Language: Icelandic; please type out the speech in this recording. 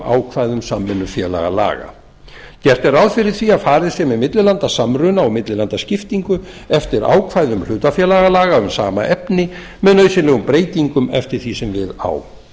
ákvæðum samvinnufélagalaga gert er ráð fyrir því að farið sé með millilandasamruna og millilandaskiptingu eftir ákvæðum hlutafélagalaga um sama efni með nauðsynlegum breytingum eftir því sem við á